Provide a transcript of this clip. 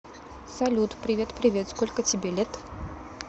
салют привет привет сколько тебе лет